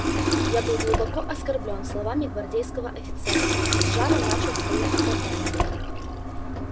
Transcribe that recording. я был глубоко оскорблён словами гвардейского офицера и с жаром начал своё оправдание